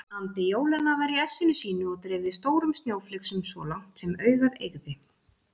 Andi jólanna var í essinu sínu og dreifði stórum snjóflygsum svo langt sem augað eygði.